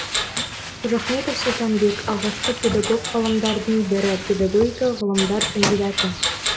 қожахметов сұлтанбек алғашқы педагог ғалымдардың бірі педагогика ғылымдар кандидаты